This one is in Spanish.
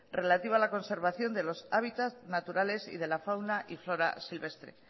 relativa a la conservación de los hábitats naturales y de la fauna y flora silvestre